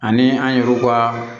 Ani an yɛrɛw ka